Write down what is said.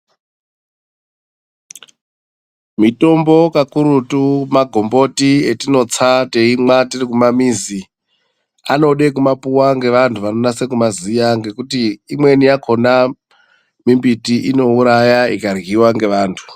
Mitombo kakurutu magomboti atinotsa teimwa tiri kumamizi, anode kumapuwa nevantu vanonyase kumaziya ngekuti imweni yakona mbiti inouraya ikaryiwa ngevantu.